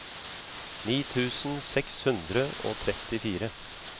ni tusen seks hundre og trettifire